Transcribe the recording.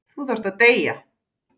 Þú þarft að deyja.